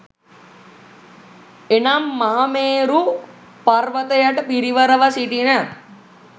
එනම්, මහමේරු පර්වතයට පිරිවරව සිටින